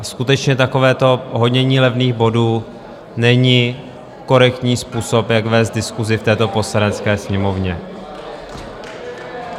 A skutečně takovéto honění levných bodů není korektní způsob, jak vést diskusi v této Poslanecké sněmovně.